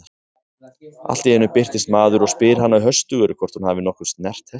Allt í einu birtist maður og spyr hana höstugur hvort hún hafi nokkuð snert hestinn.